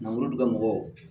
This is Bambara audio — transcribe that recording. Mangoro dun ka mɔgɔw